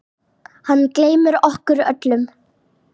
Hann gleymir okkur öllum.